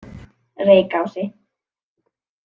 Reykási